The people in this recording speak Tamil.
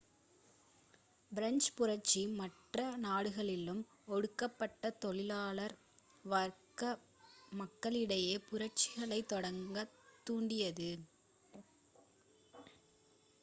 பிரெஞ்சுப் புரட்சி மற்ற நாடுகளிலும் ஒடுக்கப்பட்ட தொழிலாளர் வர்க்க மக்களிடையே புரட்சிகளைத் தொடங்க தூண்டியது